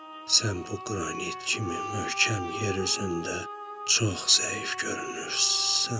Sən bu qranit kimi möhkəm yer üzündə çox zəif görünürsən.